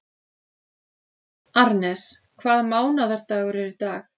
Arnes, hvaða mánaðardagur er í dag?